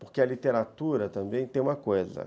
Porque a literatura também tem uma coisa.